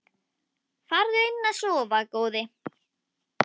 Farðu inn að sofa góði.